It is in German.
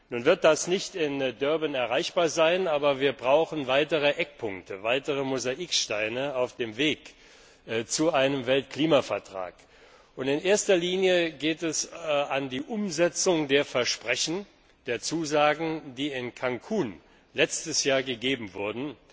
Nun wird das nicht in Durban erreichbar sein, aber wir brauchen weitere Eckpunkte, weitere Mosaiksteine auf dem Weg zu einem Weltklimavertrag. In erster Linie geht es an die Umsetzung der Versprechen, der Zusagen, die letztes Jahr in Cancún gegeben wurden.